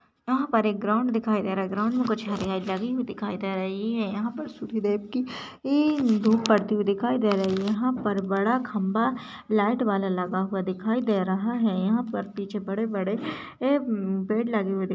यहाँ पर एक ग्राउंड दिखाई दे रहा है ग्राउंड में कुछ लगी हुई दिखाई दे रहि है यहाँ पर सूर्यदेव की ए धुप पड़ती हुई दिखाई दे रहा है यहाँ पर बड़ा खम्बा लाइट वाला लगा हुआ दिखाई दे रहा है यहाँ पर पीछे बड़े बड़े एम्म पेड़ लगे हुए --